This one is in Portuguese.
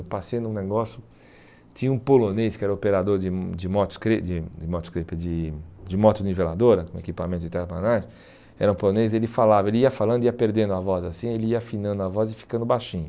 Eu passei num negócio, tinha um polonês que era operador de de de de de moto-niveladora, um equipamento de terraplanagem, era um polonês, ele falava, ele ia falando e ia perdendo a voz assim, ele ia afinando a voz e ficando baixinho.